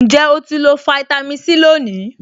Ǹjẹ́ o ti lo fáítámì Sí lónìí?